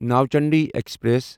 Nauchandi express